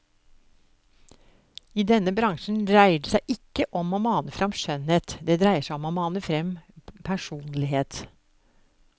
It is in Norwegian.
I denne bransjen dreier det seg ikke om å mane fram skjønnhet, det dreier seg om å mane fram personlighet.